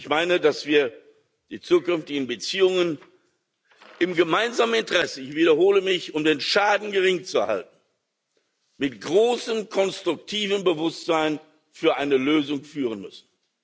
Ich meine, dass wir die zukünftigen Beziehungen im gemeinsamen Interesse ich wiederhole mich um den Schaden gering zu halten, mit großem konstruktivem Bewusstsein für eine Lösung führen müssen.